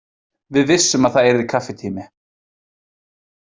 Við vissum að það yrði kaffitími.